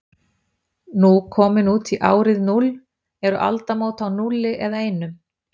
Nú komin út í árið núll, eru aldamót á núlli eða einum?